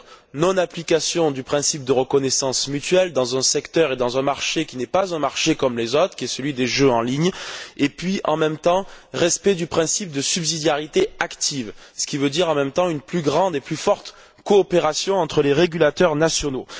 C'est à dire non application du principe de reconnaissance mutuelle dans un secteur et dans un marché qui n'est pas un marché comme les autres, qui est celui des jeux en ligne et, en même temps, respect du principe de subsidiarité active, ce qui veut dire en même temps une plus grande et plus forte coopération entre les régulateurs nationaux.